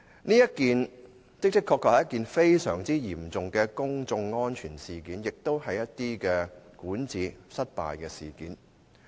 這次事件的確非常嚴重，涉及公眾安全，亦關乎管治失效。